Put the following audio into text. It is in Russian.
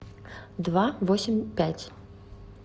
два восемь пять